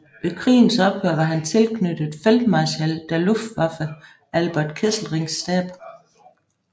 Ved krigens ophør var han tilknyttet Feldmarschall der Luftwaffe Albert Kesselrings stab